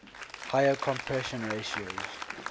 higher compression ratios